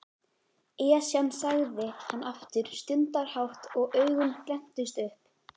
Esjan sagði hann aftur stundarhátt og augun glenntust upp.